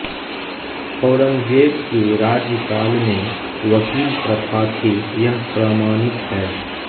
औरंगजेब के राज्यकाल में वकील प्रथा थी यह प्रमाणित है